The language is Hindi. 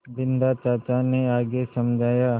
बिन्दा चाचा ने आगे समझाया